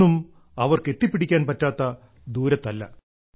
ഒന്നും അവർക്ക് എത്തിപ്പിടിക്കാൻ പറ്റാത്ത ദൂരത്തല്ല